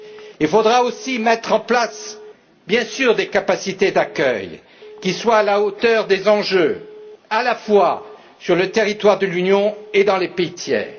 Il faudra aussi mettre en place, bien sûr, des capacités d'accueil qui soient à la hauteur des enjeux, à la fois sur le territoire de l'Union et dans les pays tiers.